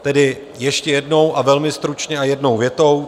Tedy ještě jednou a velmi stručně a jednou větou.